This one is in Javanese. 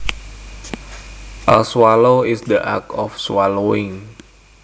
A swallow is the act of swallowing